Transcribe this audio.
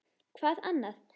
Hvað annað?